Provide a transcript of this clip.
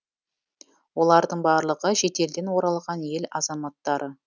олардың барлығы шетелден оралған ел азаматтары